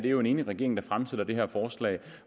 jo en enig regering der fremsætter det her forslag